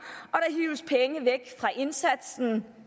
og indsatsen